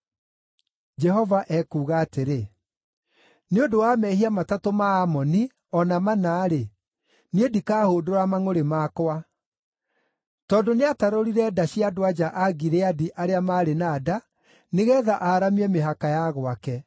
Jehova ekuuga atĩrĩ: “Nĩ ũndũ wa mehia matatũ ma Amoni, o na mana-rĩ, niĩ ndikahũndũra mangʼũrĩ makwa. Tondũ nĩatarũrire nda cia andũ-a-nja a Gileadi arĩa maarĩ na nda, nĩgeetha aaramie mĩhaka ya gwake.